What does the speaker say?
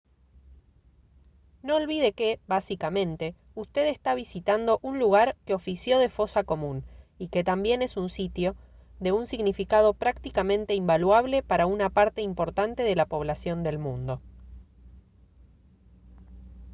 no olvide que básicamente usted está visitando un lugar que ofició de fosa común y que también es un sitio de un significado prácticamente invaluable para una parte importante de la población del mundo